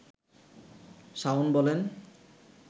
শাওন বলেন